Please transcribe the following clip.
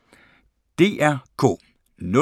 DR K